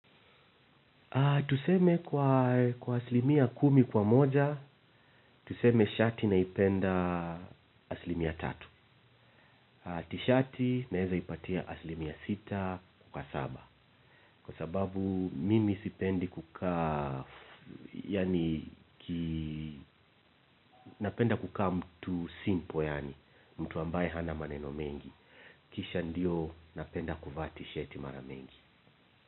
Tuseme kwa asilimia kumi kwa moja, tuseme shati naipenda asilimia tatu. Tishati naweza ipatia aslimia sita kwa saba. Kwa sababu mimi sipendi kukaa, yaani napenda kukaa mtu simple yaani, mtu ambaye hana maneno mengi. Kisha ndio napenda kuvaa tishati mara mengi.